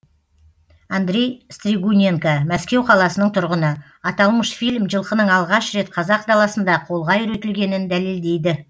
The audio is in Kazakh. андрей стригуненко мәскеу қаласының тұрғыны аталмыш фильм жылқының алғаш рет қазақ даласында қолға үйретілгенін дәлелдейді